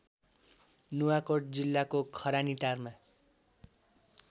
नुवाकोट जिल्लाको खरानीटारमा